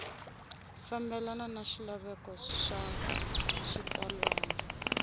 fambelana na swilaveko swa xitsalwana